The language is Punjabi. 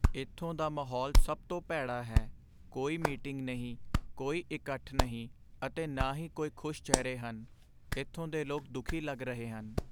ਇੱਥੋਂ ਦਾ ਮਾਹੌਲ ਸਭ ਤੋਂ ਭੈੜਾ ਹੈ, ਕੋਈ ਮੀਟਿੰਗ ਨਹੀਂ, ਕੋਈ ਇਕੱਠ ਨਹੀਂ ਅਤੇ ਨਾ ਹੀ ਕੋਈ ਖੁਸ਼ ਚਿਹਰੇ ਹਨ। ਇੱਥੋਂ ਦੇ ਲੋਕ ਦੁਖੀ ਲੱਗ ਰਹੇ ਹਨ।